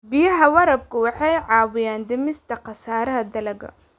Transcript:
Biyaha waraabku waxay caawiyaan dhimista khasaaraha dalagga.